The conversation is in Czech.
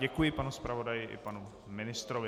Děkuji panu zpravodaji i panu ministrovi.